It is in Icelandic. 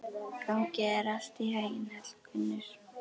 Gangi þér allt í haginn, Hallgunnur.